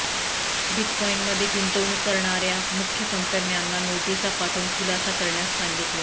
बिटकॉईनमध्ये गुंतवणूक करणार्या मुख्य कंपन्यांना नोटिसा पाठवून खुलासा करण्यास सांगितले